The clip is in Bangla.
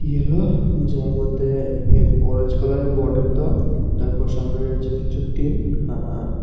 ইয়োলো যার মধ্যে ইয়ে অরেঞ্জ কালারের বর্ডার দেওয়া তারপর সামনে রয়েছে কিছু টিন আ আ--